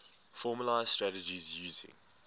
formalised strategies using